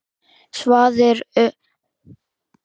Svarið sem um ræðir